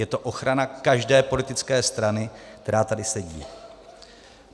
Je to ochrana každé politické strany, která tady sedí.